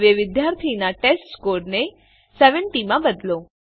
હવે વિદ્યાર્થીનાં ટેસ્ટસ્કોર ને ૭૦ માં બદલો